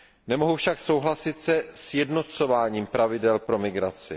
Nemohu však souhlasit se sjednocováním pravidel pro migraci.